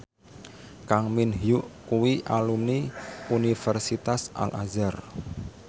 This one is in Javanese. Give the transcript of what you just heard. Kang Min Hyuk kuwi alumni Universitas Al Azhar